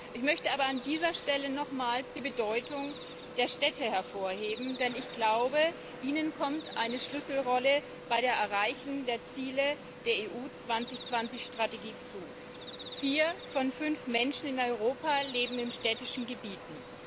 Ich möchte aber an dieser Stelle nochmals die Bedeutung der Städte hervorheben, denn ihnen kommt eine Schlüsselrolle bei der Erreichung der Ziele der Strategie EU 2020 zu. Vier von fünf Menschen in Europa leben in städtischen Gebieten.